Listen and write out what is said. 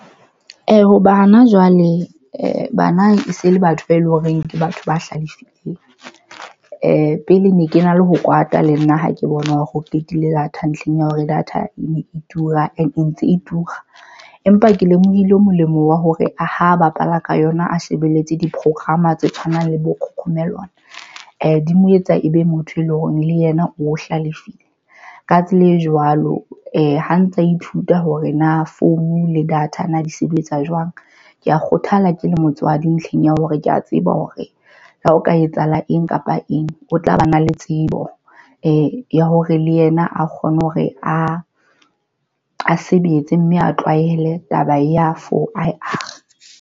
Ho bana jwale bana e se le batho ba eleng hore ke batho ba hlalefileng. Pele ne ke na le ho kwata le nna ha ke bona hore o qetile data ntlheng ya hore data e ne e tura and e ntse e tura, empa ke lemohile molemo wa hore ho bapala ka yona a shebelletse di program tse tshwanang le bo-cocomelon di mo etsa ebe motho e leng hore le yena o hlalefile. Ka tsela e jwalo ha ntsa ithuta hore na phone le data di sebetsa jwang. Ke ya kgothala ke le motswadi ntlheng ya hore ke ya tseba hore ha o ka etsahala eng kapa eng, o tla ba na le tsebo ya hore le yena a kgone hore a sebetse mme a tlwaele. Taba ya for.